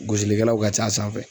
Gosilikɛlaw ka c'a sanfɛ.